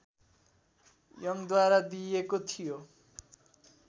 यङद्वारा दिइएको थियो